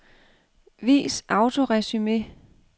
Vis autoresumé.